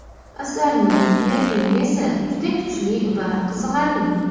Asarning yakuni esa juda kuchli va qiziqarli.